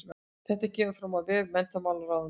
Þetta kemur fram á vef menntamálaráðuneytisins